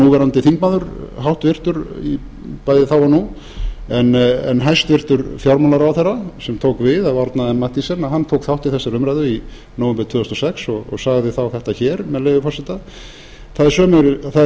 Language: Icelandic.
núverandi þingmaður háttvirtur bæði þá og nú en hæstvirtur fjármálaráðherra sem tók við af árna m mathiesen að hann tók þátt í þessari umræðu í nóvember tvö þúsund og sex og sagði þá með leyfi forseta það er